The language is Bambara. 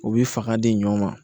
U bɛ fanga di ɲɔɔn ma